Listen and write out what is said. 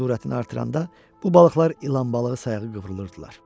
Surətini artıranda bu balıqlar ilan balığı sayağı qıvrılırdılar.